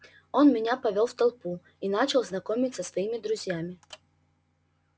он меня повёл в толпу и начал знакомить со своими друзьями